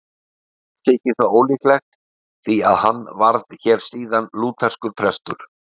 Heldur þykir það ólíklegt, því að hann varð hér síðar lútherskur prestur.